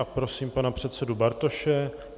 A prosím pana předsedu Bartoše.